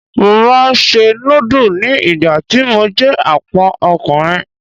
Mo máa ń se núdù ni ìgbà tí mo jẹ́ Àpọ́n ọkùnrin.